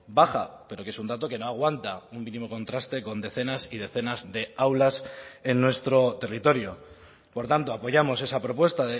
baja pero que es un dato que no aguanta un mínimo contraste con decenas y decenas de aulas en nuestro territorio por tanto apoyamos esa propuesta